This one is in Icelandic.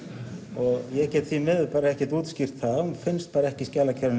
og ég get því miður ekki útskýrt það hún finnst bara ekki